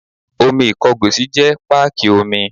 Omi Ìkọgòsì jẹ́ páàkì omi.